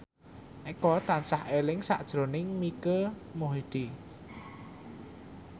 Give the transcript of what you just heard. Eko tansah eling sakjroning Mike Mohede